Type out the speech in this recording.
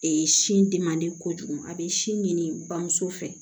sin di man di kojugu a bɛ sin ɲini bamuso fɛ